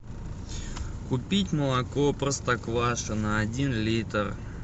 купить молоко простоквашино один литр